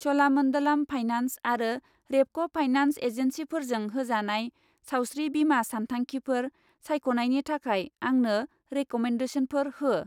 च'लामन्डलाम finance आरो Repco finance एजेन्सिफोरजों होजानाय सावस्रि बीमा सानथांखिफोर सायख'नायनि थाखाय आंनो रेकमेन्देसनफोर हो।